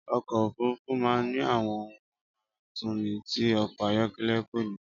Ọkọ̀ òfúrufú máa ń ní àwọn ohun amáratuni tí ọkọ̀ ayọ̀kẹ́lẹ́ kò ni